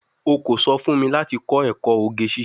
O ko so fun mi lati ko eko oge sise